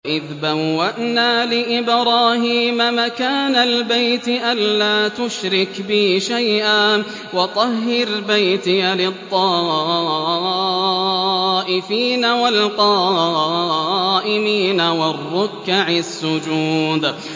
وَإِذْ بَوَّأْنَا لِإِبْرَاهِيمَ مَكَانَ الْبَيْتِ أَن لَّا تُشْرِكْ بِي شَيْئًا وَطَهِّرْ بَيْتِيَ لِلطَّائِفِينَ وَالْقَائِمِينَ وَالرُّكَّعِ السُّجُودِ